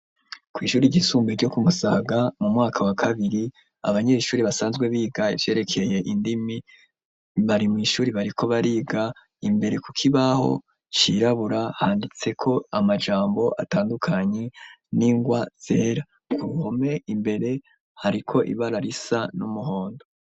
kw'ishuri ryisumbe ryo ku Musaga mu mwaka wa kabiri, abanyeshuri basanzwe biga ivyerekeye indimi bari mw' ishuri bariko bariga. Imbere ku kibaho cirabura, handitseko amajambo atandukanye n'ingwa zera. Ku mpome imbere hariko ibara risa n'umuhondo.